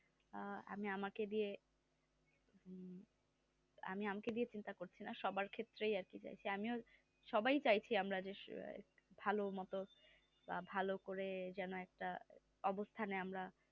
আহ আমি আমাকে দিয়ে উহ আমি আমাকে দিয়ে চিন্তা করছি না সবার ক্ষেত্রেই একই চাইছি আমিও সাবাই চাইছি আমরা যে ভালো মতো বা ভালো করে যেন একটা অবস্থানে আমরা